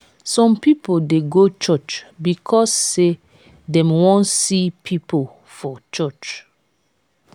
some people de go church because say dem won see pipo for church